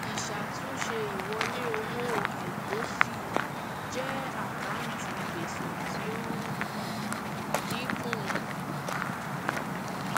ìṣàtúnṣe ìwọlé owó àìtọsí jẹ àkántì gbèsè tí ó ń um dínkù um